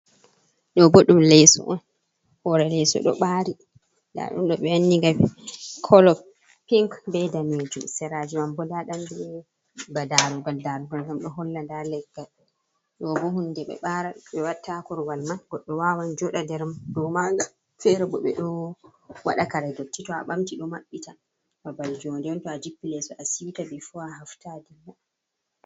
Ɗobo ɗum leso on hore leso do ɓaari nda ɗun do ɓe wanniga kolo pinc be daneijum seraji manbo nda ɗon ba darugal, darugal ngam ɗo holla nda leggal ɗoboh hunde ɓe watta korwal man goɗɗo wawan jo ɗa nder man fere bo ɓeɗo waɗa karedotti to'a ɓamti ɗo maɓɓi ta babal joɗnde on to'a jippi leso a siwta bifo a hafta a dilla.